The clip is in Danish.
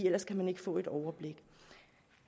ellers kan man ikke få et overblik det